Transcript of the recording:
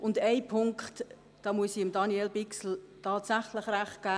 In einem Punkt muss ich Daniel Bichsel recht geben.